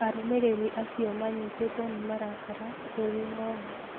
Arũmĩrĩri acio manyitirwo nĩ marakara kũrĩ Ngo'nga.